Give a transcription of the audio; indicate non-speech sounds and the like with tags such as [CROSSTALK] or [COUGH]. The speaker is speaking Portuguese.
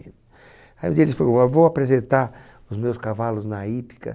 Aí um dia ele, [UNINTELLIGIBLE] ah vou apresentar os meus cavalos na hípica.